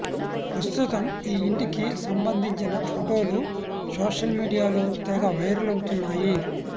ప్రస్తుతం ఈ ఇంటికి సంబంధించిన ఫోటోలు సోషల్మీడియాలో తెగ వైరల్ అవుతున్నాయి